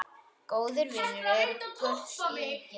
Góðir vinir eru gulls ígildi.